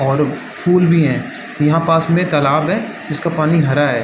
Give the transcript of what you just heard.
और फूल भी है यहाँ पास में एक तालाब है जिसका पानी हरा है।